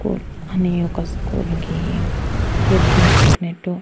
Poor అనే ఒక స్కూలుకి వెల్కమ్ చెప్పినట్టు.